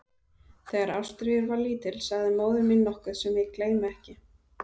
Þegar Ástríður var lítil sagði móðir mín nokkuð sem ég gleymi ekki.